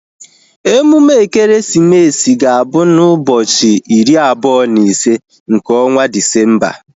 Emume ekeresimesi ga-abụ na ụbọchị iri abụọ na ise nke ọnwa Disemba